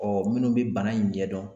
Ɔ minnu bɛ bana in ɲɛdɔn